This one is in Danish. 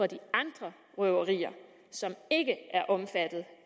de andre røverier som ikke er omfattet